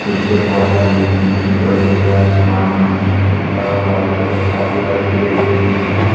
नीचे बहोत सारी गिट्टी विटटी पड़े हुए हैं आसमान दिख नहीं रहा है व्हाइट कलर का पूरा पेड़ ग्रीन है।